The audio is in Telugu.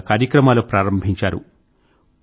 రకరకాల కార్యక్రమాలు ప్రారంభించారు